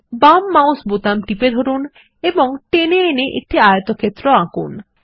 বাম mouse button টিপে ধরুন এবং টেনে এনে একটি আয়তক্ষেত্র আঁকুন